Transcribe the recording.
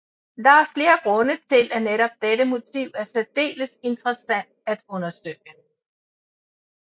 Der er flere grunde til at netop dette motiv er særdeles interessant at undersøge